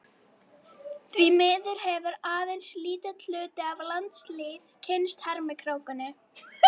Því miður hefur aðeins lítill hluti af landslýð kynnst hermikrákunni